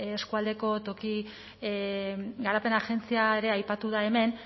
eskualdeko toki garapen agentzia ere aipatu da hemen